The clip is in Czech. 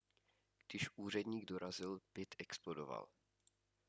když úředník dorazil byt explodoval